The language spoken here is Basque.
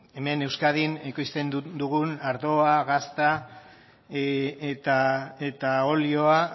hemen euskadin ekoizten dugun ardoa gazta eta olioa